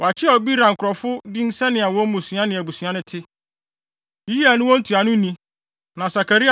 Wɔakyerɛw Beera nkurɔfo din sɛnea wɔn mmusua ne abusua no te: Yeiel ne wɔn ntuanoni, na Sakaria